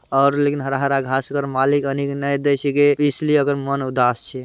और लेकिन हरा-हरा घाँस मालिक इसलिए मन उदास छे।